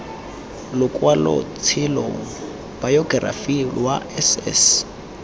lokwalotshelo bayokerafi lwa s s